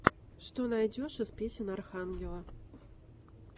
что найдешь из песен архангела